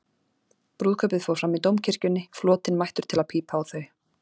Brúðkaupið fór fram í Dómkirkjunni, flotinn mættur til að pípa á þau.